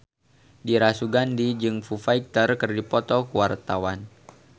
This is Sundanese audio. Dira Sugandi jeung Foo Fighter keur dipoto ku wartawan